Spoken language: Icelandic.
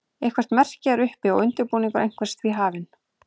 eitthvert merki er uppi og undirbúningur einhvers því hafinn